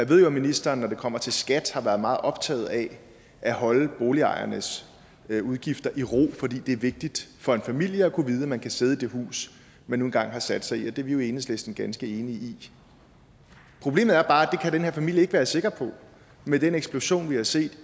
ved jo at ministeren når det kommer til skat har været meget optaget af at holde boligejernes udgifter i ro fordi det er vigtigt for en familie at vide at man kan sidde i det hus man nu engang har sat sig i det er vi i enhedslisten ganske enige i problemet er bare at det kan den her familie ikke være sikker på med den eksplosion vi har set